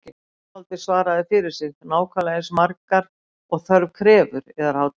Tónskáldið svaraði fyrir sig: Nákvæmlega eins margar og þörf krefur, yðar hátign